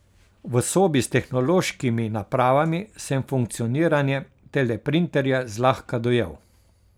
V sobi s tehnološkimi napravami sem funkcioniranje teleprinterja zlahka dojel.